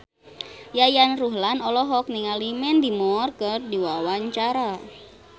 Yayan Ruhlan olohok ningali Mandy Moore keur diwawancara